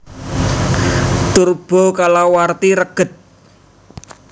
Turbo kalawarti reged